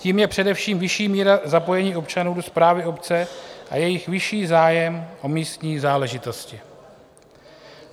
Tím je především vyšší míra zapojení občanů do správy obce a jejich vyšší zájem o místní záležitosti.